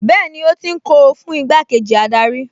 Bẹ́ẹ̀ni ó ti ń kó o fún igbákejì adarí